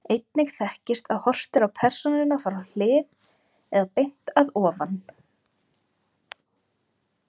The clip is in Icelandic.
Einnig þekkist að horft er á persónuna frá hlið, eða beint að ofan.